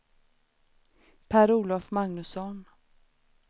Per-Olof Magnusson